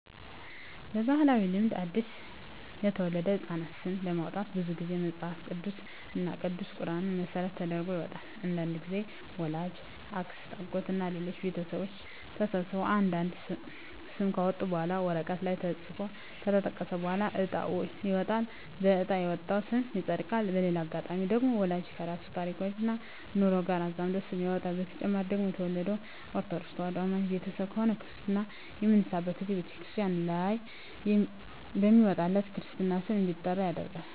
በባህላዊ ልማድ አዲስ ለተወለደ ህጻን ስም ለማውጣት ብዙ ግዜ መጸሀፍ ቅዱስ እና ቅዱስ ቁራንን መሰረት ተደርጎ ይወጣል። አንዳንድግዜም ወላጅ፣ አክስት፣ አጎት እና ሌሎች ቤተሰቦች ተሰብስበው አንድ አንድ ስም ካወጡ በኋላ ወረቀት ላይ ተጽፎ ከተጠቀለለ በኋላ እጣ ይወጣል በእጣ የወጣው ስም ይጸድቃል። በሌላ አጋጣሚ ደግሞ ወላጅ ከራሱ ታሪክና ኑሮ ጋር አዛምዶ ስም ያወጣል። በተጨማሪ ደግሞ የተወለደው ከኦርተዶክ ተዋህዶ አማኝ ቤተሰብ ከሆነ ክርስታ በሚነሳበት ግዜ በተክርስቲያን ላይ በሚወጣለት የክርስትና ስም እንዲጠራ ይደረጋል።